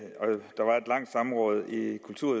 ikke